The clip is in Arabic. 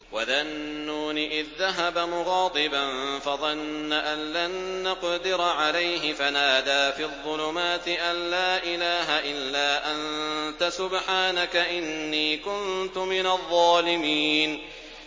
وَذَا النُّونِ إِذ ذَّهَبَ مُغَاضِبًا فَظَنَّ أَن لَّن نَّقْدِرَ عَلَيْهِ فَنَادَىٰ فِي الظُّلُمَاتِ أَن لَّا إِلَٰهَ إِلَّا أَنتَ سُبْحَانَكَ إِنِّي كُنتُ مِنَ الظَّالِمِينَ